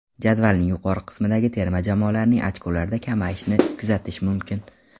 Jadvalning yuqori qismidagi terma jamoalarning ochkolarida kamayishni kuzatish mumkin.